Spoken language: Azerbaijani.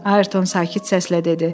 Ayrton sakit səslə dedi.